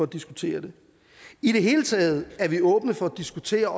diskutere det i det hele taget er vi åbne for at diskutere